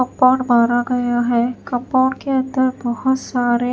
compound मारा गया है कंपाउंड के अंदर बहुत सारे--